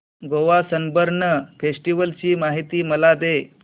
Goa Sunburn festival ची माहिती मला दे